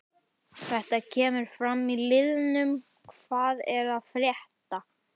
Þetta kemur fram í liðnum hvað er að frétta?